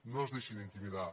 no es deixin intimidar